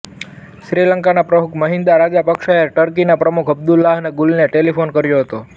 શ્રીલંકાના પ્રમુખ મહિન્દા રાજાપક્ષાએ ટર્કીના પ્રમુખ અબ્દુલ્લાહ ગુલને ટેલિફોન કર્યો હતો